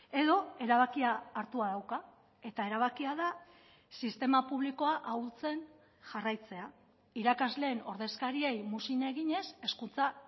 edo erabakia hartua dauka eta erabakia da sistema publikoa ahultzen jarraitzea irakasleen ordezkariei muzin eginez hezkuntza